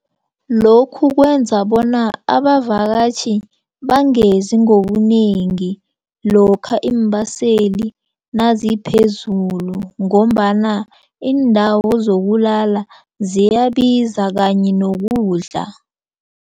Lokhu kwenza bona abavakatjhi bangezi ngobunengi lokha iimbaseli naziphezulu ngombana iindawo zokulala ziyabiza kanye nokudla.